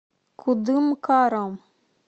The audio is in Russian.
кудымкаром